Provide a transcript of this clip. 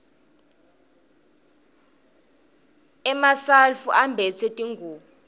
emasulfu ambatsa tlhqubo